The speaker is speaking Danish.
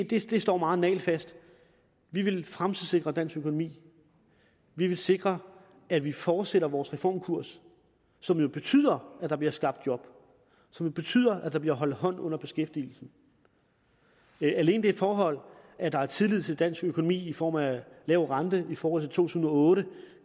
det står meget nagelfast at vi vil fremtidssikre dansk økonomi vi vil sikre at vi fortsætter vores reformkurs som jo betyder at der bliver skabt job og som betyder at der bliver holdt hånd under beskæftigelsen alene det forhold at der er tillid til dansk økonomi i form af en lav rente i forhold tusind og otte